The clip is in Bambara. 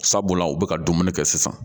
Sabula u bɛ ka dumuni kɛ sisan